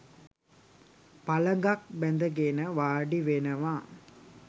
පළඟක් බැඳගෙන වාඩි වෙනවා